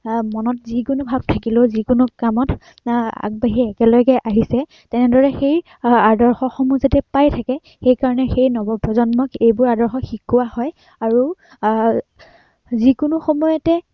আহ মনত যিকোনো ভাৱ থাকিলেও যি কোনো কামত আহ আগবাঢ়ি একেলগে আহিছে, তেনেদৰে সেই আদৰ্শসমূহ যাতে পাই থাকে, আহ সেই নৱ প্ৰজন্মক এইবোৰ আদৰ্শ শিকোৱা হয় আৰু আহ যি কোনো সময়তে